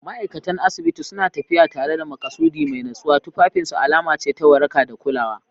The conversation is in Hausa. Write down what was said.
Ma'aikatan asibiti suna tafiya tare da maƙasudi mai natsuwa, tufafinsu alama ce ta waraka da kulawa.